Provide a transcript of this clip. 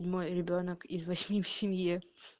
мой ребёнок из восьми в семье